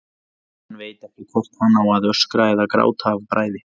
Hann veit ekki hvort hann á að öskra eða gráta af bræði.